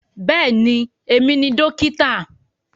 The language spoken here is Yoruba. Bẹ́ẹ̀ni, èmi ni dókítà